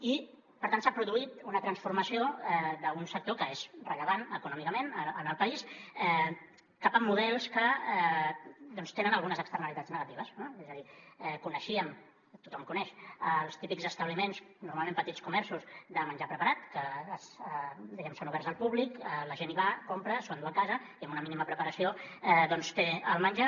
i per tant s’ha produït una transformació d’un sector que és rellevant econòmicament en el país cap a models que doncs tenen algunes externalitats negatives no és a dir coneixíem tothom ho coneix els típics establiments normalment petits comerços de menjar preparat que diguem ne són oberts al públic la gent hi va compra s’ho enduu a casa i amb una mínima preparació doncs té el menjar